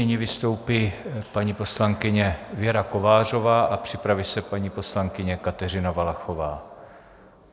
Nyní vystoupí paní poslankyně Věra Kovářová a připraví se paní poslankyně Kateřina Valachová.